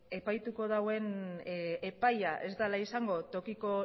epaituko dauen epailea ez dela izango tokiko